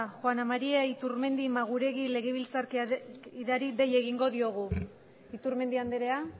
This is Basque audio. juana maria iturmendi maguregui legebiltzarkideari dei egingo diogu iturmendi andrea